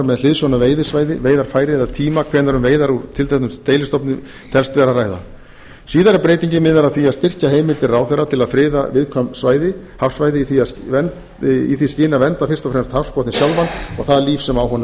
með hliðsjón af veiðisvæði veiðarfæri eða tíma hvenær um veiðar úr tilteknum deilistofni telst vera að ræða síðari breytingin miðar að því að styrkja heimildir ráðherra til að friða viðkvæm hafsvæði í því skyni að vernda fyrst og fremst hafsbotninn sjálfan og það líf sem á honum